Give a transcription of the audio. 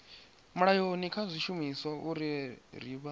mulayoni kha zwishumiswa uri vha